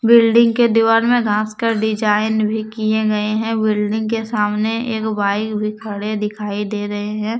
Building के दीवार में घास का डिजाइन भी किए गए हैं बिल्डिंग के सामने एक बाइक भी खड़े दिखाई दे रहे हैं।